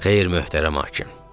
Xeyr, möhtərəm hakim.